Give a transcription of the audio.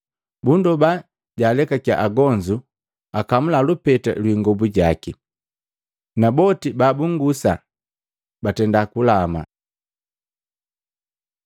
Bundoba jaalekakiya agonzu akamula lupeta lwii ingobu jaki. Naboti babunngusa batenda kulama.